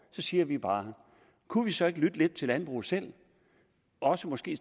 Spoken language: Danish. så siger vi bare kunne vi så ikke lytte lidt til landbruget selv og måske